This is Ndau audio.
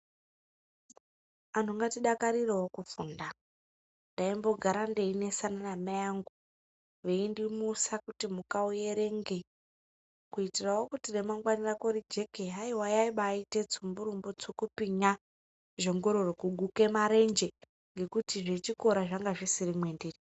Anhu ngatidakarirewo kufunda. Ndaimbogara ndeinesana namai angu veindimusa kuti muka uerenge kuitirawo kuti remangwani rako rijeke. Haiwa yaibaaite tsumburumbu tsukupinya, zhongororo kuguke marenje. Ngekuti zvechikora zvanga zvisiri mwendiri.